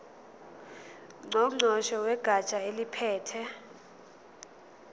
ngqongqoshe wegatsha eliphethe